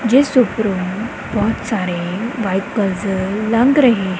ਜਿਸ ਉੱਪਰੋਂ ਬਹੁਤ ਸਾਰੇ ਵਾਈਟ ਪਲਸਰ ਲੰਘ ਰਹੇ--